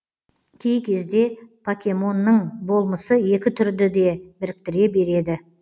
кей кезде покемонның болмысы екі түрді де біріктіре береді